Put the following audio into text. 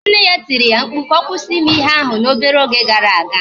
Nne ya tiri ya mkpu ka ọ kwụsị ime ihe ahụ obere oge gara aga